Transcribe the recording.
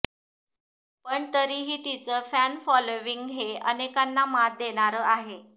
पण तरीही तिचं फॅनफॉलोविंग हे अनेकांना मात देणारं आहे